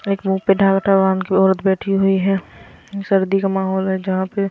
एक मुह पे बांधके औरत बैठी हुई है सर्दी का माहौल है जहां पे--